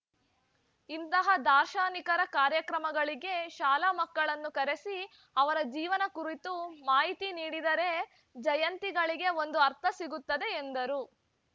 ಇಂತಹ ದಾರ್ಶನಿಕರ ಕಾರ್ಯಕ್ರಮಗಳಿಗೆ ಶಾಲಾ ಮಕ್ಕಳನ್ನು ಕರೆಸಿ ಅವರ ಜೀವನ ಕುರಿತು ಮಾಹಿತಿ ನೀಡಿದರೆ ಜಯಂತಿಗಳಿಗೆ ಒಂದು ಆರ್ಥ ಸಿಗುತ್ತದೆ ಎಂದರು